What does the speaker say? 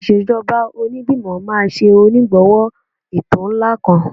Ìṣèjọba Onígbìmọ̀ máa ṣe onígbọ̀wọ́ ètò ńlá kan